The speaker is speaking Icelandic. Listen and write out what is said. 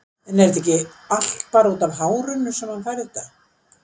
En er þetta ekki allt bara útaf hárinu sem hann fær þetta?